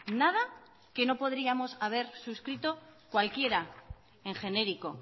nada que no podríamos haber suscrito cualquiera en genérico